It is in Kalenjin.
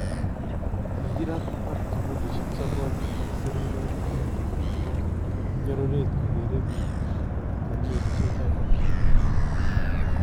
Kikiraat ak kibuliisyek sokool ak sirimyoot anan ko nyororeet kokeree biik kong'eteen melisiek choton aeng .